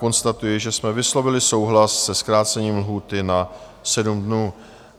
Konstatuji, že jsme vyslovili souhlas se zkrácením lhůty na 7 dnů.